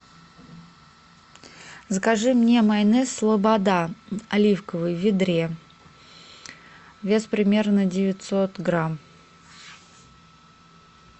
закажи мне майонез слобода оливковый в ведре вес примерно девятьсот грамм